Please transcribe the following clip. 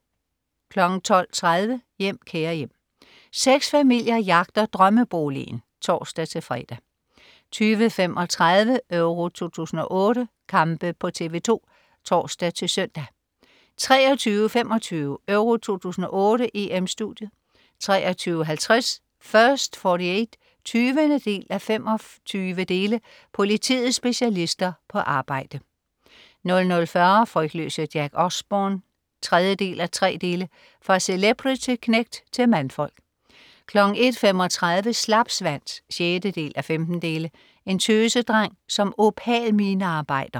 12.30 Hjem, kære hjem. Seks familier jagter drømmeboligen (tors-fre) 20.35 Euro 2008: Kampe på TV2 (tors-søn) 23.25 EURO 2008: EM-Studiet 23.50 First 48 20:25. Politiets specialister på arbejde 00.40 Frygtløse Jack Osbourne 3:3. Fra celebrity-knægt til mandfolk 01.35 Slapsvans 6:15. En tøsedreng som opal-minearbejder